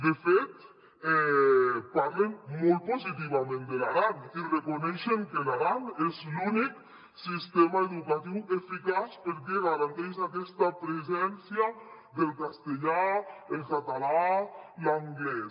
de fet parlen molt positivament de l’aran i reconeixen que l’aran és l’únic sistema educatiu eficaç perquè garanteix aquesta presència del castellà el català l’anglès